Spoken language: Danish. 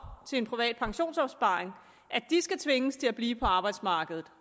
i private pensionsopsparinger skal tvinges til at blive på arbejdsmarkedet